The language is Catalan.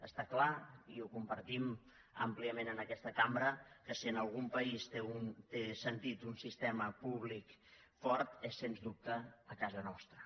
està clar i ho compartim àmpliament en aquesta cambra que si en algun país té sentit un sistema públic fort és sens dubte a casa nostra